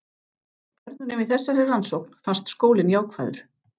Börnunum í þessari rannsókn fannst skólinn jákvæður.